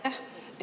Aitäh!